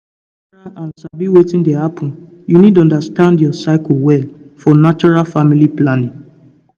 to stay natural and sabi wetin dey happen you need understand your cycle well for natural family planning.